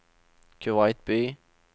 Kuwait by